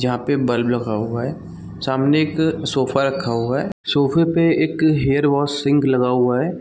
जहाँ पे बल्ब लगा हुआ है सामने एक सोफा रखा हुआ है सोफे पे एक हेयर वाश सिंक लगा हुआ हैं।